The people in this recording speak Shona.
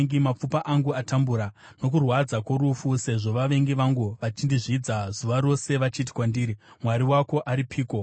Mapfupa angu atambura nokurwadza kworufu, sezvo vavengi vangu vachindizvidza zuva rose vachiti kwandiri, “Mwari wako aripiko?”